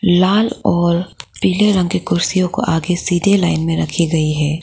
लाल और पीले रंग के कुर्सियों को आगे सीधे लाइन में रखी गई है।